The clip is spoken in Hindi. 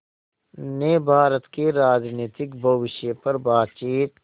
ने भारत के राजनीतिक भविष्य पर बातचीत